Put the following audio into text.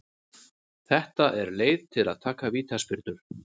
Þetta er leið til að taka vítaspyrnur.